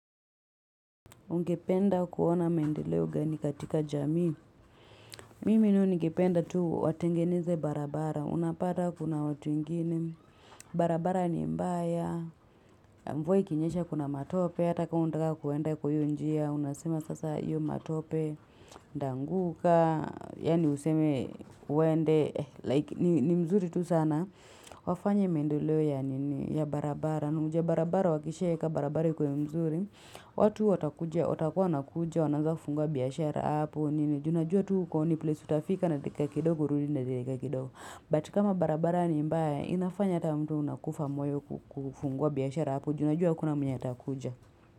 Ungependa kuona maendeleo gani katika jamii. Mimi nayo ningependa tu watengeneze barabara. Unapata kuna watu wengini. Barabara ni mbaya. Mvua ikinyesha kuna matope. Hataka unataka kuenda kwa hiyo njia. Unasema sasa hiyo matope. Nitaanguka. Yani useme uende. Like ni mzuri tu sana. Wafanye mendeleo ya barabara. Na ujue barabara wakishaeka barabara ikuwe mzuri. Watu watakuwa wanakuja wanaaza kufungua biashara hapo Junajua tu uko ni place utafika na dakika kidogo urudi na dakika kidogo But kama barabara ni mbaya inafanya hata mtu unakufa moyo kufungua biashara hapo Junajua hakuna mwenye ata kuja.